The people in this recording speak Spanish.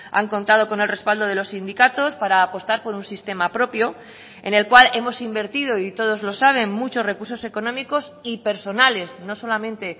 han contado con el respaldo de los sindicatos para apostar por un sistema propio en el cual hemos invertido y todos lo saben muchos recursos económicos y personales no solamente